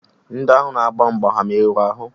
Ndị ahụ na-agba mgbe ha merụrụ ahụ?